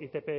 itp